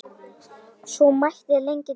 Svo mætti lengi telja.